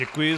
Děkuji.